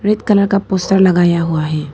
Red colour का poster लगाया हुआ है।